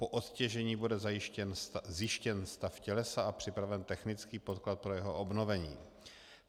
Po odtěžení bude zjištěn stav tělesa a připraven technický podklad pro jeho obnovení.